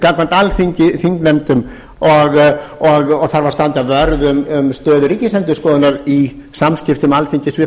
gagnvart alþingi þingnefndum og þarf að standa vörð um stöðu ríkisendurskoðunar í samskiptum alþingis við